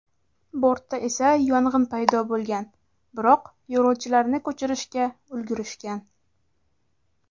Bortda esa yong‘in paydo bo‘lgan, biroq yo‘lovchilarni ko‘chirishga ulgurishgan.